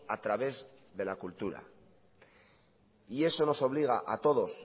a través de la cultura eso nos obliga a todos